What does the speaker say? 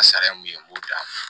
Sariya mun ye n b'o d'a ma